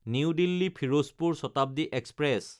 new দিল্লী–ফিৰোজপুৰ Shatabdi express